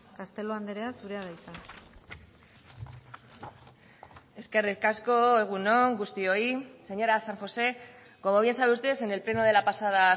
castelo andrea zurea da hitza eskerrik asko egun on guztioi señora san josé como bien sabe usted en el pleno de la pasada